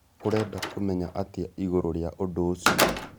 Ũreda kũmenya atĩa ĩgũrũ rĩa ũdũ ũcĩo?